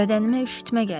Bədənimə üşütmə gəlir.